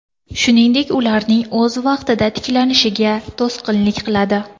Shuningdek, ularning o‘z vaqtida tiklanishiga to‘sqinlik qiladi.